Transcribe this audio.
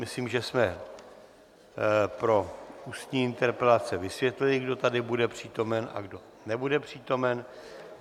Myslím, že jsme pro ústní interpelace vysvětlili, kdo tady bude přítomen a kdo nebude přítomen.